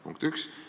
Punkt üks.